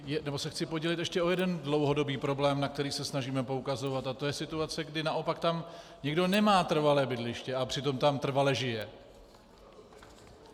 Nebo se chci podělit ještě o jeden dlouhodobý problém, na který se snažíme poukazovat, a to je situace, kdy naopak tam někdo nemá trvalé bydliště a přitom tam trvale žije.